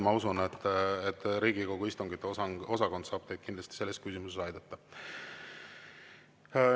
Ma usun, et Riigikogu istungiosakond saab kindlasti selles küsimuses aidata.